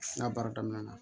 N ka baara daminɛna